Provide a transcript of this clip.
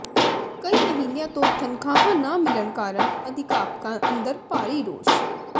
ਕਈ ਮਹੀਨਿਆਂ ਤੋਂ ਤਨਖਾਹਾਂ ਨਾ ਮਿਲਣ ਕਾਰਣ ਅਧਿਆਪਕਾਂ ਅੰਦਰ ਭਾਰੀ ਰੋਸ